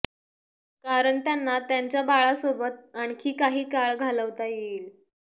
कारण त्यांना त्यांच्या बाळासोबत आणखी काही काळ घालवता येईल